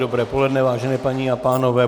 Dobré poledne, vážené paní a pánové.